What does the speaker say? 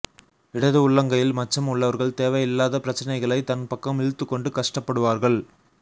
இடது உள்ளங்கையில் மச்சம் உள்ளவர்கள் தேவையில்லாத பிரச்சனைகளை தன் பக்கம் இழுத்துக் கொண்டு கஷ்டப்படுவார்கள்